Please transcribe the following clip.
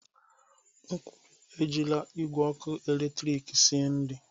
M kwuru, Ejila igwe ọkụ eletrik esi nri!